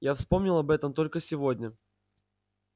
я вспомнил об этом только сегодня